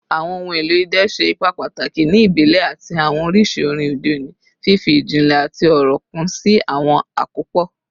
Awọn ohun elo idẹ ṣe ipa pataki ni ibile ati awọn oriṣi orin ode oni, fifi ijinle ati ọrọ kun si awọn akopọ